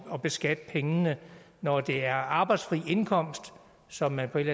at beskatte pengene når det er arbejdsfri indkomst som man på et